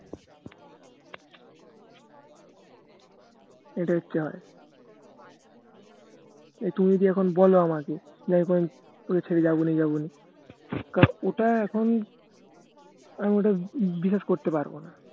কত কিছু যে এখন বলে আমাকে যে এখন তোকে ছেড়ে যাবো না যাবোনা ওটা এখন এখন ওটা বিশ্বাস করতে পারবোনা